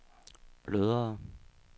blødere